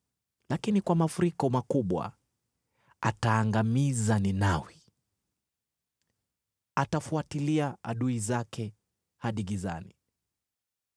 lakini kwa mafuriko makubwa, ataangamiza Ninawi; atafuatilia adui zake hadi gizani.